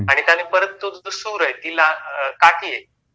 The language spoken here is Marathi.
आणि समजा तो सूर आहे काठी आहे